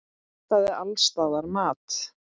Það vantaði alls staðar mat.